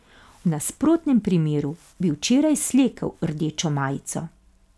V nasprotnem primeru bi včeraj slekel rdečo majico.